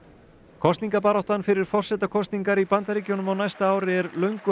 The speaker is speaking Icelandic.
kosningabaráttan fyrir forsetakosningar í Bandaríkjunum á næsta ári er löngu